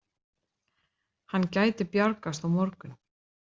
Hann gæti bjargast á morgun.